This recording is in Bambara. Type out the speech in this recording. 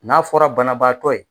N'a fɔra banabaatɔ ye.